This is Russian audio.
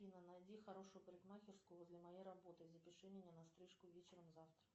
афина найди хорошую парикмахерскую возле моей работы и запиши меня на стрижку вечером завтра